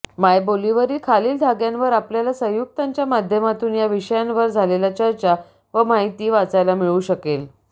मायबोलीवरील खालील धाग्यांवर आपल्याला संयुक्ताच्या माध्यमातून या विषयांवर झालेल्या चर्चा व माहिती वाचायला मिळू शकेल